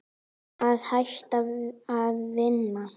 Að hætta að vinna?